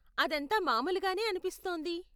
అదంతా మామూలుగానే అనిపిస్తోంది.